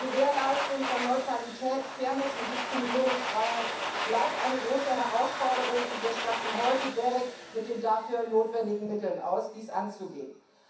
Die Gewährleistung von Neutralität, Fairness und Diskriminierungsfreiheit bleibt eine große Herausforderung, und wir statten heute das GEREK mit den notwendigen Mitteln aus, um dies anzugehen.